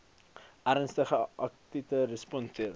ernstige akute respiratoriese